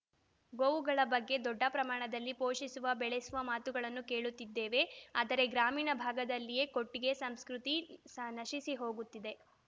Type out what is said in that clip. ಗೋವುಗಳ ಬಗ್ಗೆ ದೊಡ್ಡ ಪ್ರಮಾಣದಲ್ಲಿ ಪೋಷಿಸುವ ಬೆಳೆಸುವ ಮಾತುಗಳನ್ನು ಕೇಳುತ್ತಿದ್ದೇವೆ ಆದರೆ ಗ್ರಾಮೀಣ ಭಾಗದಲ್ಲಿಯೇ ಕೊಟ್ಟಿಗೆ ಸಂಸ್ಕೃತಿ ಸ ನಶಿಸಿ ಹೋಗುತ್ತಿದೆ